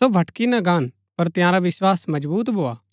सो भटकी ना गान पर तंयारा विस्वास मजबुत भोआ